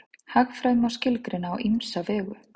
Hagfræði má skilgreina á ýmsa vegu.